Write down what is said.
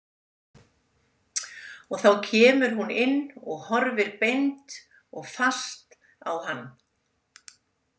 Og þá kemur hún inn og horfir beint og fast á hann.